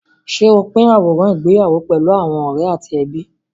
Ṣé o pín àwòrán ìgbéyàwó pẹ̀lú àwọn ọ̀rẹ́ àti ẹbí?